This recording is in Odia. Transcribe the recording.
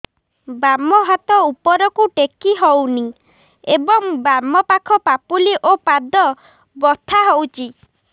ବାମ ହାତ ଉପରକୁ ଟେକି ହଉନି ଏବଂ ବାମ ପାଖ ପାପୁଲି ଓ ପାଦ ବଥା ହଉଚି